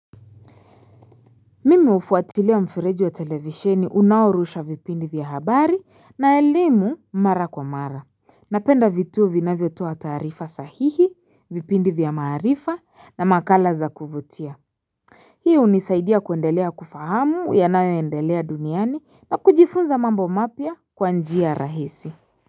Mimi ufuatilia mfereji wa televisheni unaorusha vipindi vya habari na elimu mara kwa mara napenda vituo vinavyotoa taarifa sahihi vipindi vya maarifa na makala za kuvutia Hii hunisaidia kuendelea kufahamu yanayoendelea duniani na kujifunza mambo mapya kwa njia rahisi.